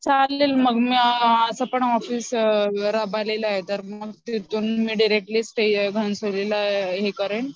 चालेल मग मी असं पण ऑफिस रबालीला आहे तर मग तिथून डिरेक्टली घणसोली ला हे करेन